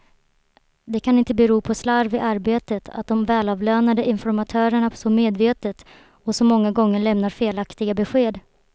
Det kan inte bero på slarv i arbetet att de välavlönade informatörerna så medvetet, och så många gånger lämnar felaktiga besked.